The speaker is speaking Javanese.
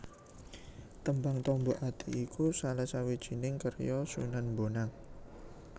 Tembang Tombo Ati iku salah sawijining karya Sunan Bonang